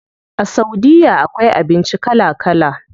A saudiya akwai abinci kala kala.